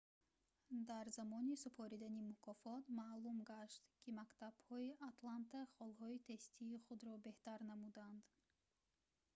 дар замони супоридани мукофот маълум гашт ки мактабҳои атланта холҳои тестии худро беҳтар намуданд